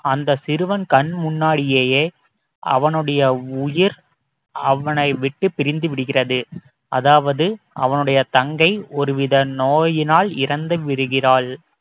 அந்த சிறுவன் கண் முன்னாடியே அவனுடைய உயிர் அவனை விட்டுப் பிரிந்து விடுகிறது அதாவது அவனுடைய தங்கை ஒரு வித நோயினால் இறந்து விடுகிறாள்